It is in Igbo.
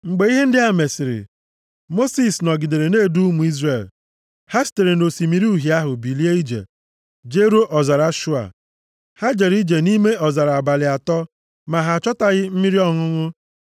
Mgbe ihe ndị a mesịrị, Mosis nọgidere na-edu ụmụ Izrel. Ha sitere nʼOsimiri Uhie ahụ bilie ije, jeruo ọzara Shua. Ha jere ije nʼime ọzara abalị atọ, ma ha achọtaghị mmiri ọṅụṅụ